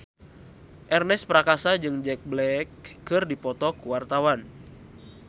Ernest Prakasa jeung Jack Black keur dipoto ku wartawan